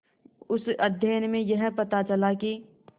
उस अध्ययन में यह पता चला कि